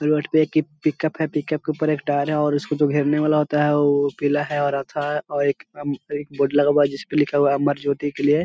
Road पे एक कीप पिक-उप है पिक-उप के ऊपर एक टायर है और उसको जो घेरने वाला होता है वो पीला है और आधा है और एक अम एक बोर्ड लगा हुआ है जिसपे लिखा हुआ है अमर ज्योति के लिए।